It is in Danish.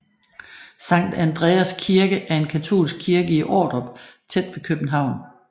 Sankt Andreas Kirke er en katolsk kirke i Ordrup tæt ved København